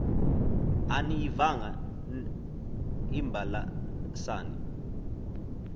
aniyivanga n imbalasane